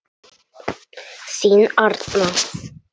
Þín Arna.